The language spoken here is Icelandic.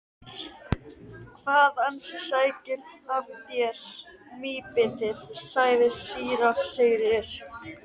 Hvað ansi sækir að þér mýbitið, sagði síra Sigurður.